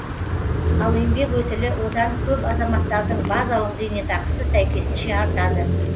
ал еңбек өтілі одан көп азаматтардың базалық зейнетақысы сәйкесінше артады